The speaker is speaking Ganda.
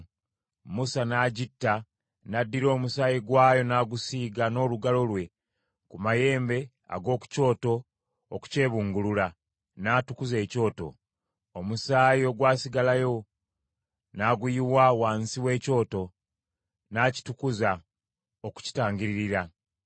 Musa n’agitta, n’addira omusaayi gwayo n’agusiiga n’olugalo lwe ku mayembe ag’oku kyoto okukyebungulula, n’atukuza ekyoto. Omusaayi ogwasigalawo n’aguyiwa wansi w’ekyoto, n’akitukuza, okukitangiririra.